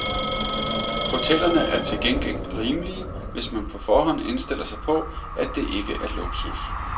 Hotellerne er til gengæld rimelige, hvis man på forhånd indstiller sig på, at det ikke er luksus.